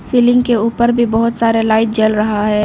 Ceiling के ऊपर भी बहोत सारा लाइट जल रहा है।